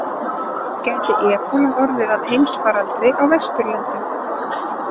Gæti ebóla orðið að heimsfaraldri á Vesturlöndum?